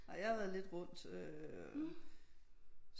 Ej jeg har været lidt rundt øh